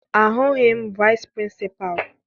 Ahụghị m vici Pịrịnsịpalụ.